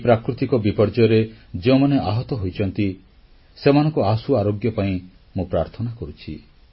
ଏହି ପ୍ରାକୃତିକ ବିପର୍ଯ୍ୟୟରେ ଯେଉଁମାନେ ଆହତ ହୋଇଛନ୍ତି ସେମାନଙ୍କ ଆଶୁ ଆରୋଗ୍ୟ ପାଇଁ ମୁଁ ପ୍ରାର୍ଥନା କରୁଛି